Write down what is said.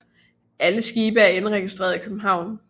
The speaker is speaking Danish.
Alle skibe er indregistreret i København